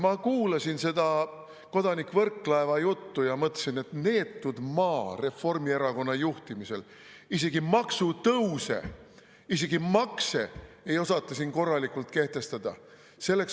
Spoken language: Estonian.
" Ma kuulasin kodanik Võrklaeva juttu ja mõtlesin, et neetud maa, Reformierakonna juhtimisel ei osata isegi maksutõuse, isegi makse siin korralikult kehtestada.